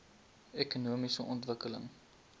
ekonomiese ontwikkeling